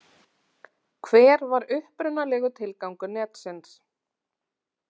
Hver var upprunalegur tilgangur netsins?